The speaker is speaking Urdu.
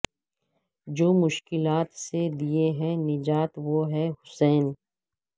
جو مشکلات سے دے ہے نجات وہ ہے حسین